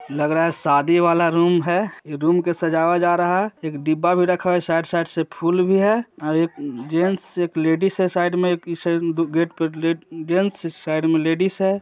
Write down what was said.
लग रहा है शादी वाला रूम है इ रूम के सजाया जा रहा एक डिब्बा भी रखा है साइड साइड से फूल भी है आर एक अम्म-जेंट्स एक लेडिज है साइड में एक इ साइड में दो गेट जेंट्स साइड में लेडिज है।